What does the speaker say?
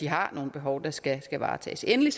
har nogle behov der skal varetages endelig